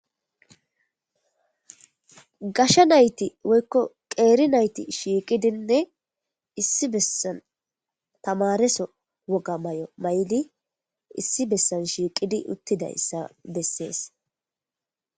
gasha nayti woykko qeeri nayti shiiqidinne issi bessan tamareso woga may7o mayli issi bessan shiiqidi uttiday ssa bessees